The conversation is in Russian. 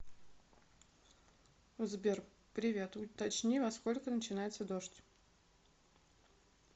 сбер привет уточни во сколько начинается дождь